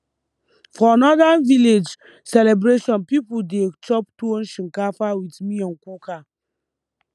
for northern village celebration people dey chop tuwo shinkafa with miyan kuka